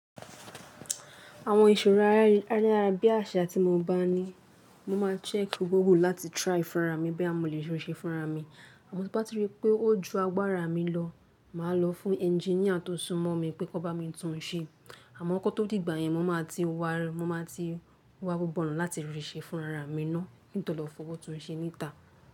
Àwọn ìṣòro a- arayabiasa ti mo bá ní, mo máa check Google láti try fúnra mi boya mọ̀ lè ríṣẹ́ fúnra mi. Àmọ́ tí bá ti rí pé ó ju agbára mi lọ, màá lọ fún engineer tó súmọ́ mi pé kó bá mi tún un ṣe. Àmọ́ kọ́ tó dìgbà yẹn mo máa ti wa, mo máa ti wa gbogbo ọ̀nà láti ríṣẹ́ fúnra ara mi náà kín tó lọ fowó tún un ṣe níta.